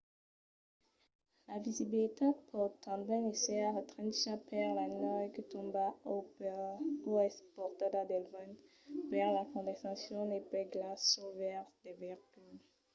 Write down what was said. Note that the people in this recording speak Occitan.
la visibilitat pòt tanben èsser restrencha per la nèu que tomba o es portada pel vent per la condensacion o pel glaç suls veires del veïcul